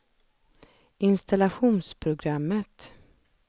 installationsprogrammet